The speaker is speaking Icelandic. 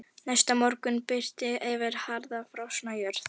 Næsta morgun birti yfir harðfrosna jörð.